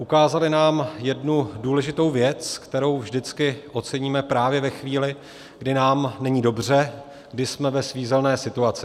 Ukázali nám jednu důležitou věc, kterou vždycky oceníme právě ve chvíli, kdy nám není dobře, kdy jsme ve svízelné situaci.